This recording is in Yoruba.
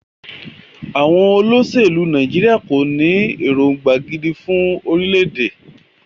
Àwọn olóṣèlú Nàìjíríà kò ní èròngbà gidi fún orílẹ̀-èdè.